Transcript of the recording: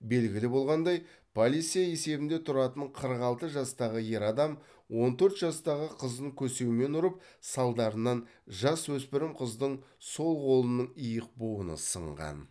белгілі болғандай полиция есебінде тұратын қырық алты жастағы ер адам он төрт жастағы қызын көсеумен ұрып салдарынан жасөспірім қыздың сол қолының иық буыны сынған